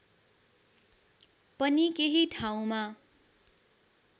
पनि केही ठाउँमा